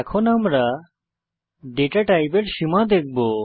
এখন আমরা ডেটা টাইপের সীমা দেখব